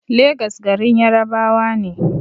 Legas garin Yarabawa ne